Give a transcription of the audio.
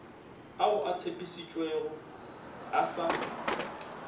ao a tshepišitšwego a sa